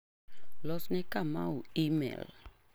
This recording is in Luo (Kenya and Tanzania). Los ne Kamau imel.